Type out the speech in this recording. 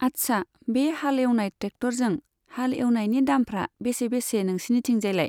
आच्छा, बे हाल एवनाय ट्रेक्टरजों हाल एवनायनि दामफ्रा बेसे बेसे नोंसिनिथिंजायलाय?